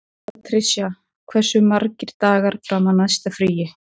Patrisía, hversu margir dagar fram að næsta fríi?